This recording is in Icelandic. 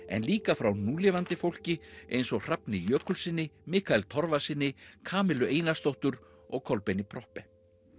en líka frá núlifandi fólki eins og Hrafni Jökulssyni Mikael Torfasyni Kamillu Einarsdóttur og Kolbeini Proppé